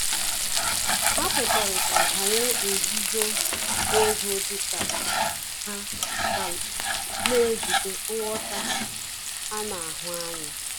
Ha kwekọrịta banyere nzuzo ego dị ka ha ka na-ejide nghọta ana ahụ anya